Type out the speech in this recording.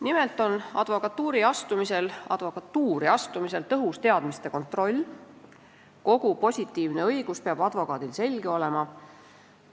Nimelt on advokatuuri astumisel tõhus teadmiste kontroll: advokaadil peab kogu positiivne õigus selge olema.